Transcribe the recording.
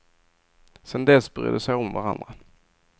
Sen dess bryr de sig om varandra.